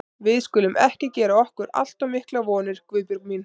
Við skulum ekki gera okkur allt of miklar vonir, Guðbjörg mín.